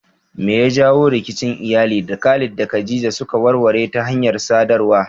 Me ya jawo rikicin iyali da Khalid da Khadija suka warware ta hanyar sadarwa?